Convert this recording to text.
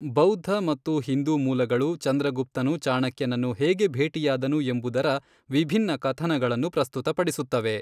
ಬೌದ್ಧ ಮತ್ತು ಹಿಂದೂ ಮೂಲಗಳು ಚಂದ್ರಗುಪ್ತನು ಚಾಣಕ್ಯನನ್ನು ಹೇಗೆ ಭೇಟಿಯಾದನು ಎಂಬುದರ ವಿಭಿನ್ನ ಕಥನಗಳನ್ನು ಪ್ರಸ್ತುತಪಡಿಸುತ್ತವೆ.